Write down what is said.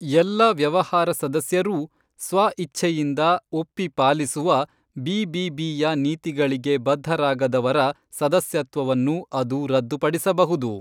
ಎಲ್ಲ ವ್ಯವಹಾರ ಸದಸ್ಯರೂ ಸ್ವಇಚ್ಛೆಯಿಂದ ಒಪ್ಪಿ ಪಾಲಿಸುವ ಬಿಬಿಬಿಯ ನೀತಿಗಳಿಗೆ ಬದ್ಧರಾಗದವರ ಸದಸ್ಯತ್ವವನ್ನು ಅದು ರದ್ದುಪಡಿಸಬಹುದು .